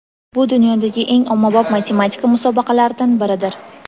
Bu dunyodagi eng ommabop matematika musobaqalaridan biridir.